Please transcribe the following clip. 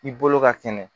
I bolo ka kɛnɛ